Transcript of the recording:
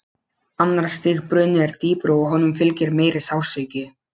Annars stigs bruni er dýpri og honum fylgir meiri sársauki.